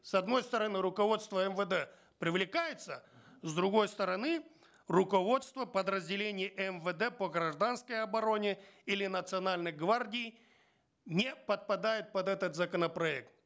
с одной стороны руководство мвд привлекается с другой стороны руководство подразделений мвд по гражданской обороне или национальной гвардии не подпадает под этот законопроект